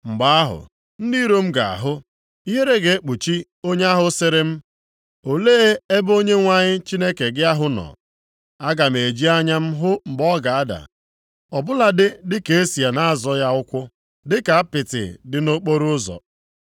Mgbe ahụ, ndị iro m ga-ahụ, ihere ga-ekpuchi onye ahụ sịrị m, “Olee ebe Onyenwe anyị Chineke gị ahụ nọ.” Aga m eji anya m hụ mgbe ọ ga-ada, ọ bụladị dịka e si na-azọ ya ụkwụ, dịka apịtị dị nʼokporoụzọ.